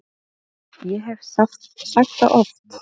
Ég hef sagt það oft.